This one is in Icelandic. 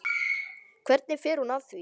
Hvernig fer hún að því?